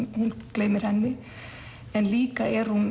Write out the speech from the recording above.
gleymir henni en líka er hún